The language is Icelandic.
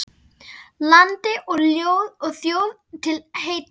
Landi og þjóð til heilla!